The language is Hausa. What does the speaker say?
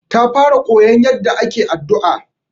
Ta fara koyon yaɗɗa ake addu'a.